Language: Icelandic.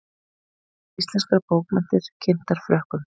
Íslenskar bókmenntir kynntar Frökkum